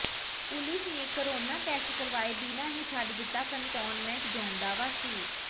police ਨੇ corona test ਕਰਵਾਏ ਬਿਨਾਂ ਹੀ ਛੱਡ ਦਿੱਤਾ ਕੰਟੋਨਮੈਂਟ ਜ਼ੋਨ ਦਾ ਵਾਸੀ